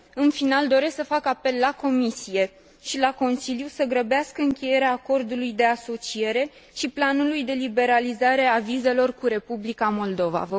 În final, doresc să fac apel la Comisie și la Consiliu să grăbească încheierea acordului de asociere și a planului de liberalizare a vizelor cu Republica Moldova.